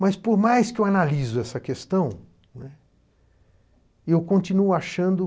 Mas, por mais que eu analiso essa questão, né, eu continuo achando que